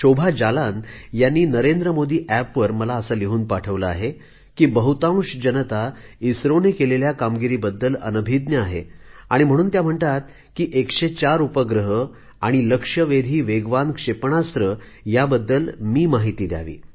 शोभा जालान यांनी नरेंद्र मोदी ऍपवर मला असे लिहून पाठवले आहे की बहुतांश जनता इस्रोने केलेल्या कामगिरीबद्दल अनभिज्ञ आहे आणि म्हणून त्या म्हणतात की १०४ उपग्रह आणि लक्ष्यवेधी वेगवान क्षेपणास्त्र याबद्दल मी माहिती द्यावी